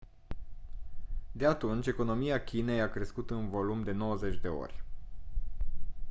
de atunci economia chinei a crescut în volum de 90 de ori